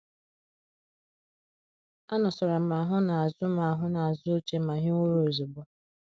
Anọsara m ahụ n’azụ m ahụ n’azụ oche ma hiwe ụra ozugbo.